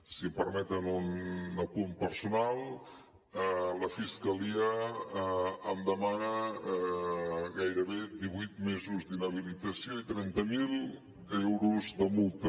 si em permeten un apunt personal la fiscalia em demana gairebé divuit mesos d’inhabilitació i trenta mil euros de multa